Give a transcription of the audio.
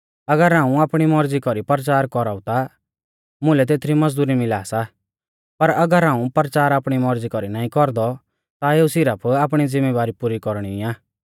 अगर हाऊं आपणी मौरज़ी कौरी परचार कौराऊ ता मुलै तेथरी मज़दुरी मिला सा पर अगर हाऊं परचार आपणी मौरज़ी कौरी नाईं कौरदौ ता एऊ सिरफ आपणी ज़िम्मेबारी पुरी कौरणी आ